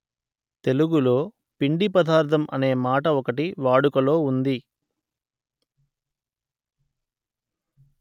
తెలుగులో పిండి పదార్ధం అనే మాట ఒకటి వాడుకలో ఉంది